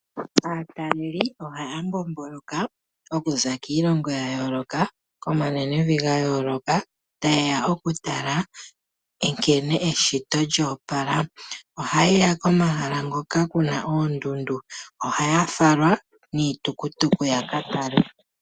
Aataleli ohaya mbombolka okuza kiilongo ya yooloka komanenevi ga yooloka tayeya okutala nkene eshito lyo opala . Oha yeya komahala hoka kuna oondundu. Ohaya falwa niitukutuku ya katale.